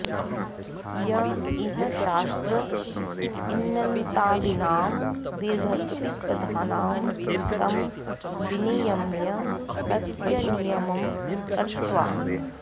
य इह शास्त्र इन्नन्तादीनां दीर्घत्विवधानं तं विनियम्य तस्य नियमं कृत्वा